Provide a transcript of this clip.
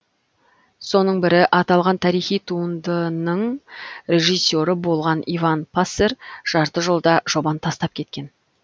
соның бірі аталған тарихи туындынының режиссері болған иван пассер жарты жолда жобаны тастап кеткен